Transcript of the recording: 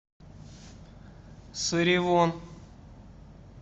саривон